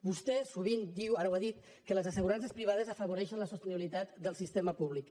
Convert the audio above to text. vostè sovint diu ara ho ha dit que les assegurances privades afavoreixen la sostenibilitat del sistema públic